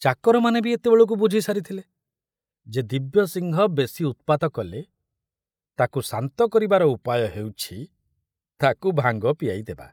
ଚାକରମାନେ ବି ଏତେବେଳକୁ ବୁଝି ସାରିଥିଲେ ଯେ ଦିବ୍ୟସିଂହ ବେଶି ଉତ୍ପାତ କଲେ ତାକୁ ଶାନ୍ତ କରିବାର ଉପାୟ ହେଉଛି ତାକୁ ଭାଙ୍ଗ ପିଆଇଦେବା।